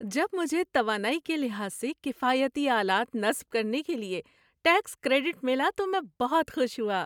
جب مجھے توانائی کے لحاظ سے کفایتی آلات نصب کرنے کے لیے ٹیکس کریڈٹ ملا تو میں بہت خوش ہوا۔